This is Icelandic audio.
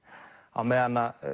á meðan að